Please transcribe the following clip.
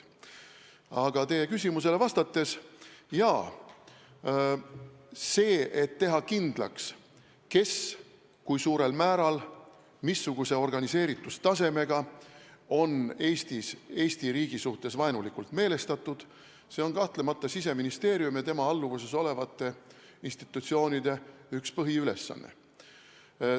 Aga teie küsimusele vastates, jaa, selle kindlakstegemine, kes, kui suurel määral ja missuguse organiseerituse tasemega on Eesti riigi suhtes vaenulikult meelestatud, on kahtlemata Siseministeeriumi ja tema alluvuses olevate institutsioonide üks põhiülesanne.